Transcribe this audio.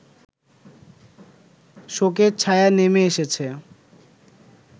শোকের ছায়া নেমে এসেছে